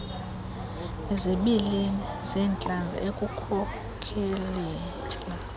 izibilini zentlanzi ekukhokelela